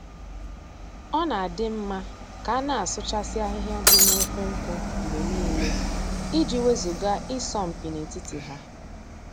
Ọ na-adị mma ka a na-asụchasị ahịhịa dị na ukwu nkwụ mgbe niile, i ji wezuga ị sọ mpi na-etiti ha.